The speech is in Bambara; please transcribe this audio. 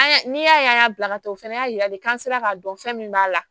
An y'a ni y'a ye an y'a bila ka taa o fɛnɛ y'a jira de k'an sera k'a dɔn fɛn min b'a la